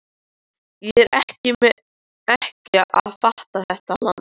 Ég er ekki að fatta þetta land.